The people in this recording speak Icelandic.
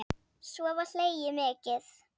Svo var hlegið mikið.